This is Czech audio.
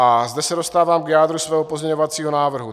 A zde se dostávám k jádru svého pozměňovacího návrhu.